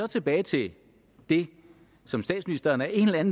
tilbage til det som statsministeren af en eller anden